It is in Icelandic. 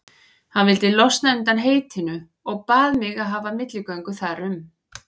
Hann vildi losna undan heitinu og bað mig að hafa milligöngu þar um.